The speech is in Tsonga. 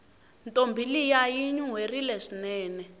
ntombi liya yinuwerile swinene